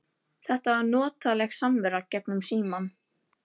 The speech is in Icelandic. Þetta var notaleg samvera gegnum símann.